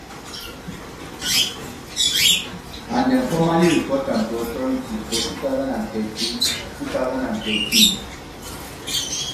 and dem formally report am to authorities for two thousand and thirteen two thousand and thirteen